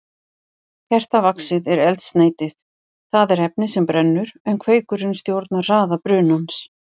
Kertavaxið er eldsneytið, það er efnið sem brennur, en kveikurinn stjórnar hraða brunans.